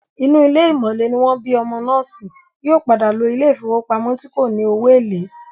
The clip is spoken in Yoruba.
Inú ilé ìmọ̀le ní wọ́n bí ọmọ náà sí, yóò padà lo ilé ìfowópamọ́ tí kò ní owó èlé